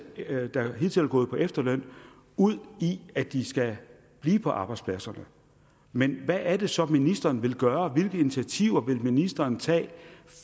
der hidtil er gået på efterløn ud i at de skal blive på arbejdspladserne men hvad er det så ministeren vil gøre hvilke initiativer vil ministeren tage